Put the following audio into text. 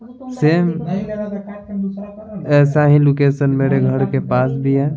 Same ऐसा ही location मेरे घर के पास भी है।